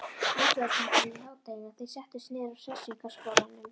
Útvegsbankann í hádeginu og þeir settust niður á Hressingarskálanum.